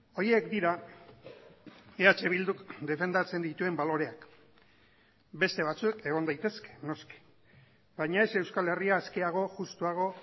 horiek dira eh bilduk defendatzen dituen baloreak beste batzuk egon daitezke noski baina ez euskal herria askeago justuago